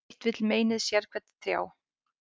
Sitt vill meinið sérhvern þjá.